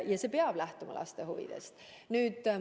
Aga see peab lähtuma lapse huvidest.